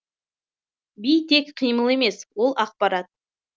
би тек қимыл емес ол ақпарат